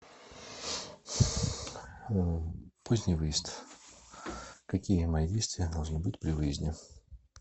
поздний выезд какие мои действия должны быть при выезде